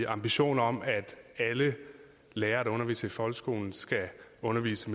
ambition om at alle lærere der underviser i folkeskolen skal undervise